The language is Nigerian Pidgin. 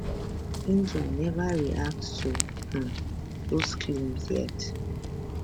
india neva react to um dos claims yet